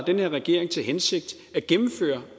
den her regering til hensigt at gennemføre